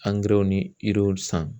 ni san